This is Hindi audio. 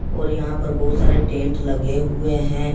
और यहां पर बहुत सारे टेंट लगे हुए हैं।